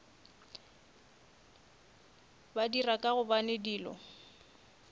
ba dira ka gobane dilo